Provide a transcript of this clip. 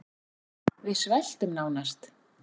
Við sveltum nánast